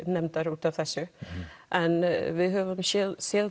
út af þessu en við höfum séð séð